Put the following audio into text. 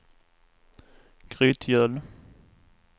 Grytgöl